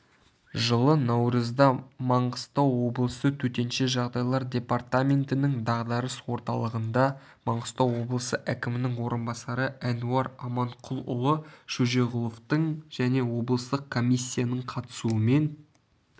жылы наурызда мағыстау облысы төтенше жағдайлар департаментінің дағдарыс орталығында маңғыстау облысы әкімінің орынбасары әнуар аманқұлұлы шөжеғұловтың және облыстық комиссиясының қатысуымен